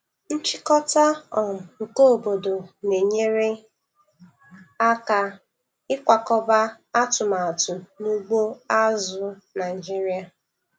Nchịkọta um nke obodo na-enyere aka ịkwakọba atụmatụ n'ugbo azụ̀ Naịjiria.